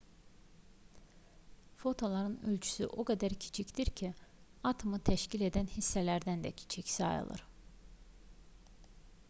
fotonların ölçüsü o qədər kiçikdir ki atomu təşkil edən hissələrdən də kiçik sayılır